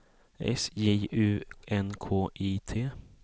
S J U N K I T